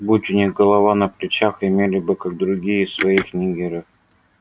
будь у них голова на плечах имели бы как другие своих ниггеров